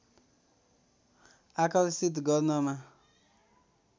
आकर्षित गर्नमा